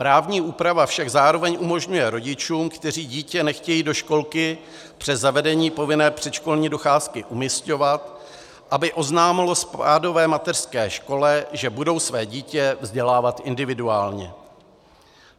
Právní úprava však zároveň umožňuje rodičům, kteří dítě nechtějí do školky přes zavedení povinné předškolní docházky umisťovat, aby oznámili spádové mateřské škole, že budou své dítě vzdělávat individuálně.